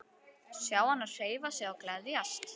Sjá hana hreyfa sig og gleðjast.